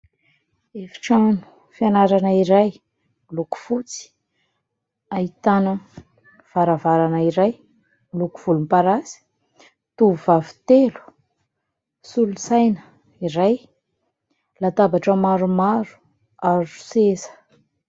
Efitrano fianarana iray miloko fotsy, ahitana varavarana iray miloko volomparasy, tovovavy telo, solosaina iray, latabatra maromaro ary seza.